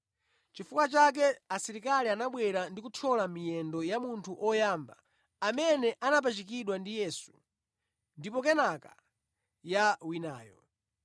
Chifukwa chake asilikali anabwera ndi kuthyola miyendo ya munthu oyamba amene anapachikidwa ndi Yesu ndipo kenaka ya winayo.